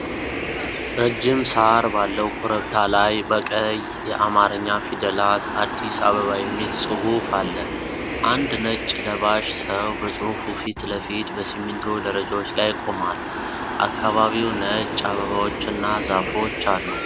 ረጅም ሳር ባለው ኮረብታ ላይ፣ በቀይ የአማርኛ ፊደላት “አዲስ አበባ” የሚል ጽሑፍ አለ። አንድ ነጭ ለባሽ ሰው በጽሑፉ ፊት ለፊት በሲሚንቶ ደረጃዎች ላይ ቆሟል። አካባቢው ነጭ አበባዎችና ዛፎች አሉ።